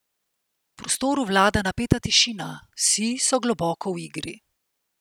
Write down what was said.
V prostoru vlada napeta tišina, vsi so globoko v igri.